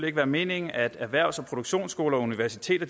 ikke være meningen at erhvervs og produktionsskoler og universiteter